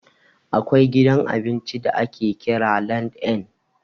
Akwai gidan abinci da ake kira LandN.